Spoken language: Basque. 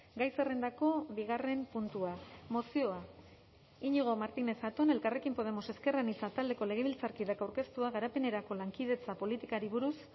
gai zerrendako bigarren puntua mozioa iñigo martinez zatón elkarrekin podemos ezker anitza taldeko legebiltzarkideak aurkeztua garapenerako lankidetza politikari buruz